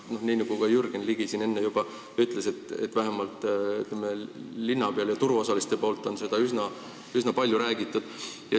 Nii nagu Jürgen Ligi siin enne juba ütles, vähemalt linna peal ja turuosaliste seas on seda üsna palju räägitud.